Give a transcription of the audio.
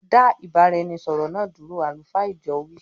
Da ìbáraẹnisọọ̀rọ̀ náà dúró "àlùfáà ìjọ wii".